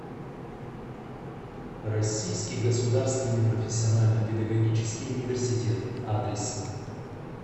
российский государственный профессионально педагогический университет адрес